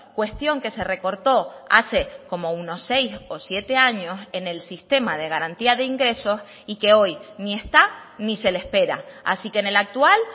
cuestión que se recortó hace como unos seis o siete años en el sistema de garantía de ingresos y que hoy ni está ni se le espera así que en el actual